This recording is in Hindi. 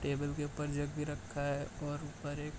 टेबल के ऊपर जग भी रखा है और ऊपर एक --